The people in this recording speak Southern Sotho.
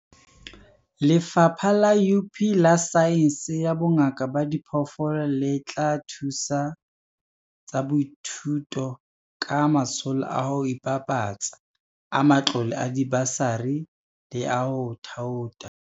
Lefapha la UP la Saense ya Bongaka ba Diphoofolo le tla thusa HWSETA ka matsholo a ho ibapatsa, a matlole a dibasari le a ho thaotha.